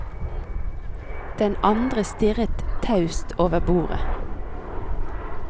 Den andre stirret taust over bordet.